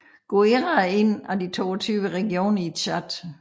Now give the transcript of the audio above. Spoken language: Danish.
Guéra er en af de 22 regioner i Tchad